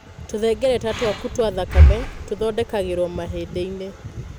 Tũhengereta twaku twa thakame tũthondekagĩrwo mahĩndĩ-inĩ.